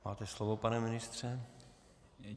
Máte slovo, pane ministře.